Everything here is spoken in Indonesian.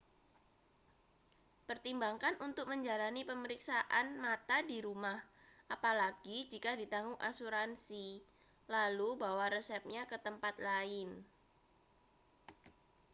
pertimbangkan untuk menjalani pemeriksaan mata di rumah apalagi jika ditanggung asuransi lalu bawa resepnya ke tempat lain